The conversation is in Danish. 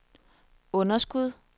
underskud